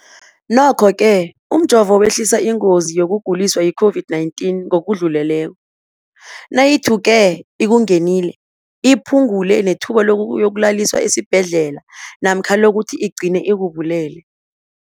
Nokho-ke umjovo wehlisa ingozi yokuguliswa yi-COVID-19 ngokudluleleko, nayithuke ikungenile, iphu ngule nethuba lokuyokulaliswa esibhedlela namkha lokuthi igcine ikubulele.